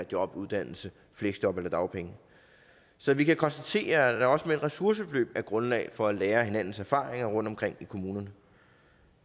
job uddannelse fleksjob eller dagpenge så vi kan konstatere at der også med ressourceforløb er grundlag for at lære af hinandens erfaringer rundtomkring i kommunerne